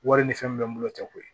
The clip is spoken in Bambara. Wari ni fɛn min bɛ n bolo o tɛ koyi